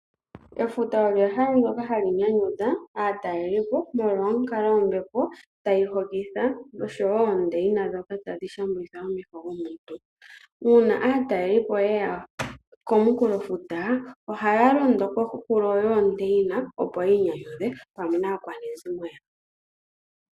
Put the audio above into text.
Efuta olyo ehala ndoka hali nyanyudha aatalelipo molwa onkalo yombepo tayi hokitha, noshowo oondeyina dhoka tadhi shambulitha omeho gomuntu. Uuna aatalelipo ye ya komunkulofuta ohaya londo koohulo dhoondeyina opo ya inyanyudhe pamwe naakwanezimo yawo.